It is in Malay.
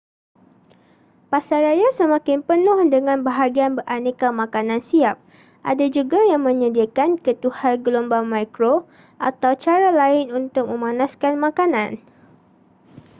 pasaraya semakin penuh dengan bahagian beraneka makanan siap ada juga yang menyediakan ketuhar gelombang mikro atau cara lain untuk memanaskan makanan